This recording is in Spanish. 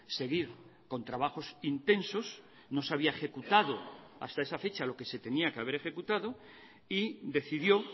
seguir con trabajos intensos no se había ejecutado hasta esa fecha lo que se tenía que haber ejecutado y decidió